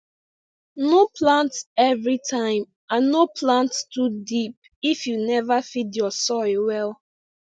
no plant everytime and no plant too deep if you never feed ur soil well